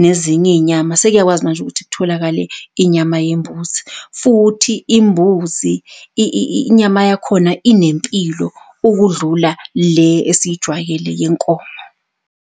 nezinye iy'nyama sekuyakwazi manje ukuthi kutholakale inyama yembuzi futhi imbuzi inyama yakhona inempilo ukudlula le esiyijwayele yenkomo.